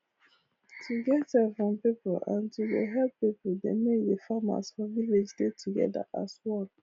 to get help from people and to dey help people dey make the farmers for village dey together as one